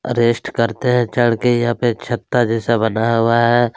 Rest करते है चढ़ के यहाँ पे छत्ता जैसा बना हुआ है।